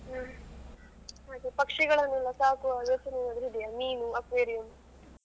ಹ್ಮ್ ಹಾಗೆ ಪಕ್ಷಿಗಳನ್ನೆಲ್ಲ ಸಾಕುವ ಯೋಚನೆ ಏನಾದ್ರೂ ಇದೆಯಾ ಮೀನು aquarium.